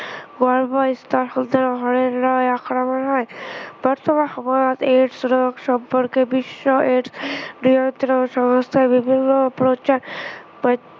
আক্ৰমণ হয়। বৰ্তমান সময়ত AIDS ৰোগ সম্পৰ্কে বিশ্ব AIDS বৃহত্তৰ সংস্থাই বিভিন্ন প্ৰচাৰ আহ